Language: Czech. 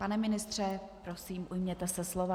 Pane ministře, prosím, ujměte se slova.